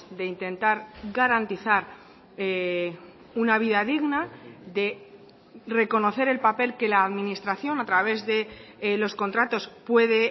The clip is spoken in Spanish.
de intentar garantizar una vida digna de reconocer el papel que la administración a través de los contratos puede